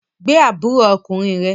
Gbé àbúrò ọkùnrin rẹ